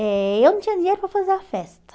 Eh eu não tinha dinheiro para fazer a festa.